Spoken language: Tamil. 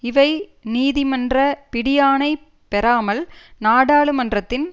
இவை நீதிமன்ற பிடியாணை பெறாமல் நாடாளுமன்றத்தின்